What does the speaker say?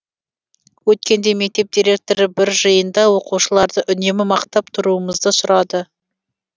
өткенде мектеп директоры бір жиында оқушыларды үнемі мақтап тұруымызды сұрады